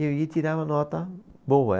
E eu ia tirava nota boa.